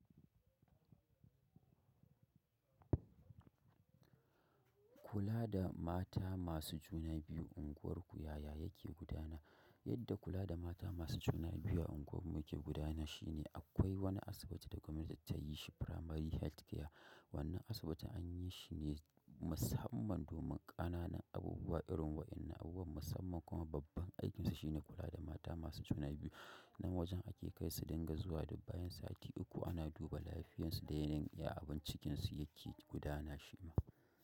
Kula da mata masu juna biyu unguwar ku yaya yake gudana. Yadda kula da mata masu juna biyu a unguwar muke gudanar shi ne akwai wani asibiti da gwamnati ta yi shi Primary Health Care. Wannan asibiti an yi shi ne musamman domin ƙananan abubuwa irin waɗannan abubuwan musamman kuma babban aikinsa shi ne kula da mata masu juna biyu. Nan wajen ake kai su dinga zuwa duk bayan sati uku ana duba lafiyarsu dai na iya abin cikinsu yake gudana shi ma.